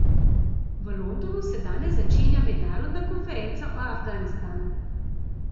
V Londonu se danes začenja mednarodna konferenca o Afganistanu.